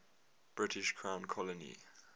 british crown colony